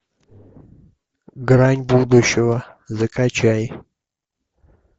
грань будущего закачай